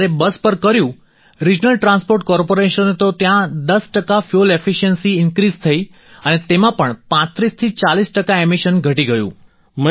અને જ્યારે બસ પર કર્યું રિજનલ ટ્રાન્સપોર્ટ કોર્પોરેશને તો ત્યાં 10 ટકા ફ્યૂઅલ એફિશિયન્સી ઈન્ક્રિઝ થઈ અને તેમાં પણ 3540 ટકા એમિશન ઘટી ગયું